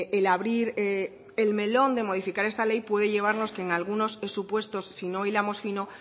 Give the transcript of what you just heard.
el abrir el melón de modificar esta ley puede llevarnos a que en algunos supuestos si no hilamos fino